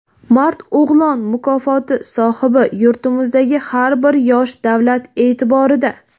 "Mard o‘g‘lon" mukofoti sohibi: " Yurtimizdagi har bir yosh davlat e’tiborida".